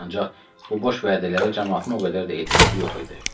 Ancaq bu boş vədələri camaatın o qədər də etimadı yox idi.